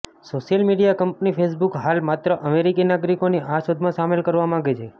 social media company Facebook હાલ માત્ર અમેરિકી નાગરિકોની આ શોધમાં સામેલ કરવા માંગે છે